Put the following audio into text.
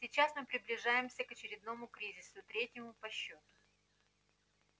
сейчас мы приближаемся к очередному кризису третьему по счету